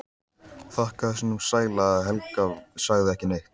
Þakkaði sínum sæla að Helga sagði ekki neitt.